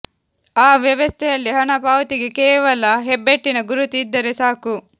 ಆ ವ್ಯವಸ್ಥೆಯಲ್ಲಿ ಹಣ ಪಾವತಿಗೆ ಕೇವಲ ಹೆಬ್ಬೆಟ್ಟಿನ ಗುರುತು ಇದ್ದರೆ ಸಾಕು